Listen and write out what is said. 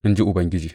in ji Ubangiji.